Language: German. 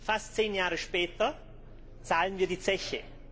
Fast zehn Jahre später zahlen wir die Zeche.